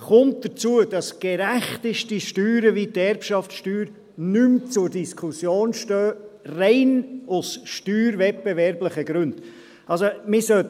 Dazu kommt, dass die gerechtesten Steuern, wie die Erbschaftssteuer, aus rein steuerwettbewerblichen Gründen nicht mehr zur Diskussion stehen.